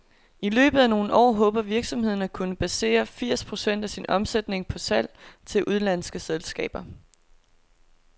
I løbet af nogle år håber virksomheden, at kunne basere firs procent af sin omsætning på salg til udenlandske selskaber.